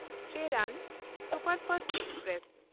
Cheran superfast express